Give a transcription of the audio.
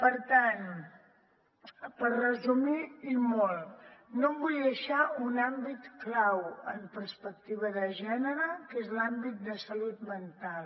per tant per resumir i molt no em vull deixar un àmbit clau en perspectiva de gènere que és l’àmbit de salut mental